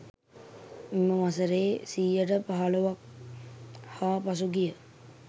මෙම වසරේ 15%ක් හා පසුගිය...